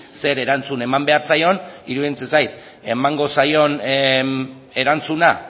zer erantzun eman behar zaion iruditzen zait emango zaion erantzuna